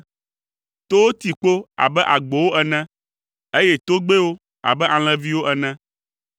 Towo ti kpo abe agbowo ene, eye togbɛwo abe alẽviwo ene.